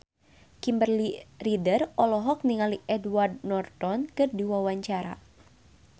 Kimberly Ryder olohok ningali Edward Norton keur diwawancara